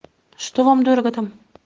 что вам дорого там